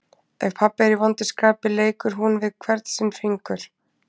Ef pabbi er í vondu skapi leikur hún við hvern sinn fingur.